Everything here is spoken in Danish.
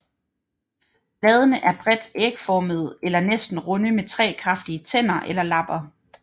Bladene er bredt ægformede eller næsten runde med tre kraftige tænder eller lapper